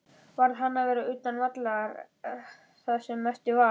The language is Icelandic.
Varð hann að vera utan vallar það sem eftir var?